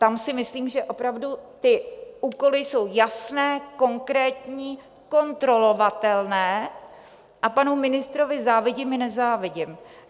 Tam si myslím, že opravdu ty úkoly jsou jasné, konkrétní, kontrolovatelné a panu ministrovi závidím i nezávidím.